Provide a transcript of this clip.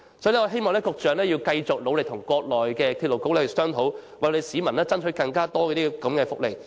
所以，我希望局長要繼續努力跟國內的鐵路局商討，為香港市民爭取更多這類福利。